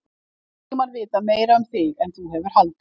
Hef allan tímann vitað meira um þig en þú hefur haldið.